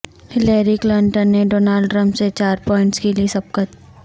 Hillary Clinton نے Donald Trump سے چار پوائنٹس کی لی سبقت